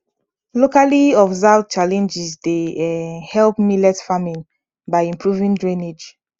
locally observed challenges dey um help millet farming by improving drainage